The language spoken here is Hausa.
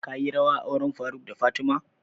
Ka yi rawa a auren faruk da fatima?